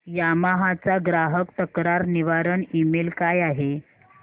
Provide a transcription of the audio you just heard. Yamaha चा ग्राहक तक्रार निवारण ईमेल काय आहे